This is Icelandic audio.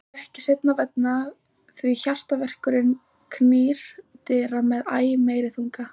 Nú er ekki seinna vænna, því HJARTAVERKURINN knýr dyra með æ meiri þunga.